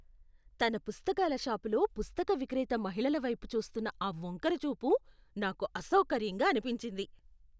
తన పుస్తకాల షాప్ లో పుస్తక విక్రేత మహిళల వైపు చూస్తున్న ఆ వంకర చూపు నాకు అసౌకర్యంగా అనిపించింది .